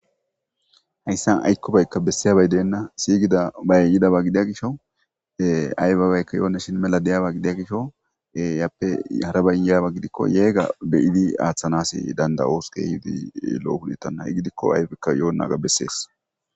Hayssan aykkobaykka bessiyabay deena. Siigidabay yida gidiya gisho aybabaykka yoonnashin mela de7iyaba gidiya gisho iyappe harabay yiyaba gidikko yeega be7idi aathanaas dandda7oos keehi lo7o biitta ha7i gidikko aybikka yoonnaga vessees